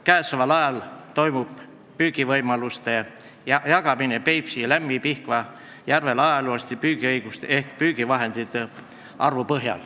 Käesoleval ajal toimub püügivõimaluste jagamine Peipsi, Lämmi- ja Pihkva järvel ajalooliste püügiõiguste ehk püügivahendite arvu põhjal.